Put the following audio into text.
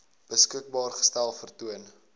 beskikbaar gestel vertoon